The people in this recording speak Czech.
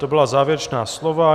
To byla závěrečná slova.